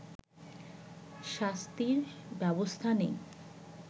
শাস্তির ব্যবস্থা নেই